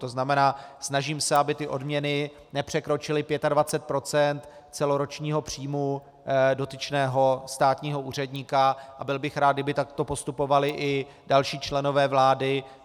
To znamená, snažím se, aby odměny nepřekročily 25 % celoročního příjmu dotyčného státního úředníka, a byl bych rád, kdyby takto postupovali i další členové vlády.